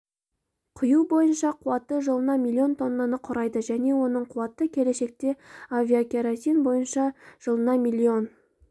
құю бойынша қуаты жылына миллион тоннаны құрайды және оның қуаты келешекте авиакеросин бойынша жылына млн